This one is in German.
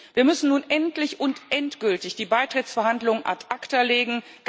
Wir müssen nun endlich und endgültig die Beitrittsverhandlungen ad acta legen.